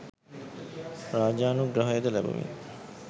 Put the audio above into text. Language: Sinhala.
රාජානුග්‍රහයද ලබමින්,